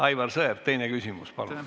Aivar Sõerd, teine küsimus, palun!